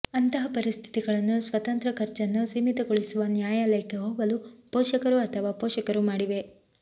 ಅಂತಹ ಪರಿಸ್ಥಿತಿಗಳನ್ನು ಸ್ವತಂತ್ರ ಖರ್ಚನ್ನು ಸೀಮಿತಗೊಳಿಸುವ ನ್ಯಾಯಾಲಯಕ್ಕೆ ಹೋಗಲು ಪೋಷಕರು ಅಥವಾ ಪೋಷಕರು ಮಾಡಿವೆ